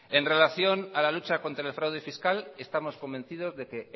en relación a la lucha contra el fraude fiscal estamos convencidos de que